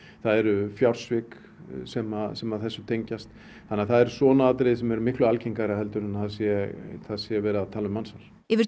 það eru fjársvik sem sem að þessu tengjast þannig það eru svona atriði sem eru miklu algengari en að það sé það sé verið að tala um mansal yfir